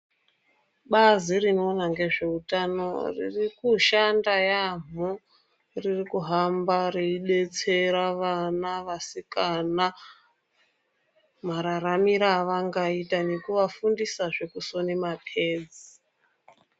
Bazi rinoona ngezveutano ririkushanda yaamho. Ririkuhamba reibetsera vana vasikana mararamire avangaita nekuvafundisazve kusone mapedzi.